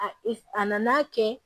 A a nana kɛ